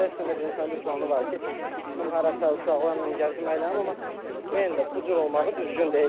İstər-istəməz insanın bir planı var ki, bir çıxım harasa uşaqlarla gəzim, əylənim, amma yenə də bu cür olmağı düzgün deyil.